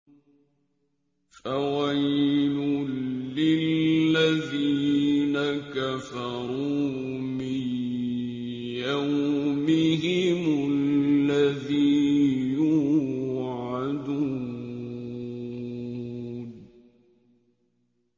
فَوَيْلٌ لِّلَّذِينَ كَفَرُوا مِن يَوْمِهِمُ الَّذِي يُوعَدُونَ